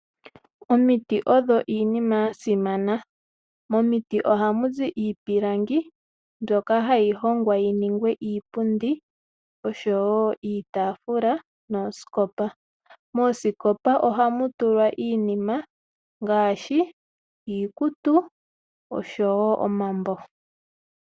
Omiti odho iinima yasimana. Momiti ohamu zi iipilangi mbyoka hayi hongwa yininge iipundi oshowo iitaafula noosikopa. Moosikopa ohamu tulwa iinima ngaashi iikutu oshowo omambo.